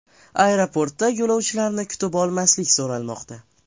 Aeroportda yo‘lovchilarni kutib olmaslik so‘ralmoqda .